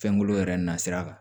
Fɛnkolo yɛrɛ na sira kan